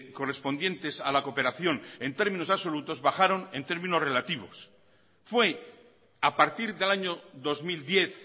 correspondientes a la cooperación en términos absolutos bajaron en términos relativos fue a partir del año dos mil diez